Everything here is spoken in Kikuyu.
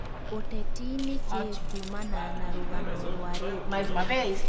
ũteti nikĩĩ kumana na rũgano rwa redio